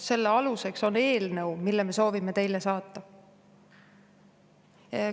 Selle aluseks on eelnõu, mille me soovime teile saata.